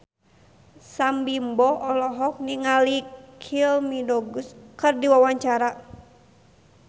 Sam Bimbo olohok ningali Kylie Minogue keur diwawancara